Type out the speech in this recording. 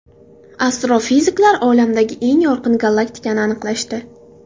Astrofiziklar Olamdagi eng yorqin galaktikani aniqlashdi.